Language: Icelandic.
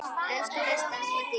Elsku besta amma Dísa.